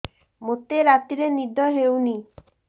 ମୋତେ ରାତିରେ ନିଦ ହେଉନି